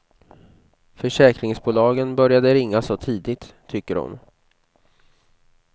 Försäkringsbolagen började ringa så tidigt, tycker hon.